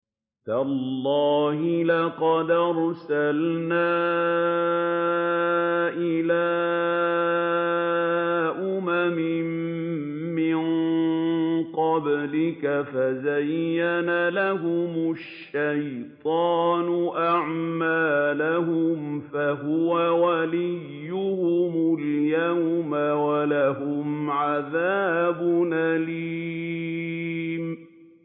تَاللَّهِ لَقَدْ أَرْسَلْنَا إِلَىٰ أُمَمٍ مِّن قَبْلِكَ فَزَيَّنَ لَهُمُ الشَّيْطَانُ أَعْمَالَهُمْ فَهُوَ وَلِيُّهُمُ الْيَوْمَ وَلَهُمْ عَذَابٌ أَلِيمٌ